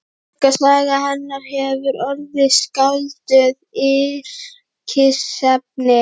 Sorgarsaga hennar hefur orðið skáldum yrkisefni.